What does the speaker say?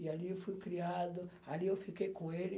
E ali eu fui criado, ali eu fiquei com ele.